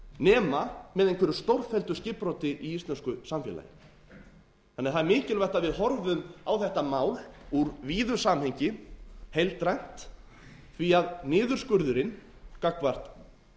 nema með einhverju stórfelldu skipbroti í íslensku samfélagi það er mikilvægt að við horfum á þetta mál úr víðu samhengi heildrænt því að niðurskurðurinn gagnvart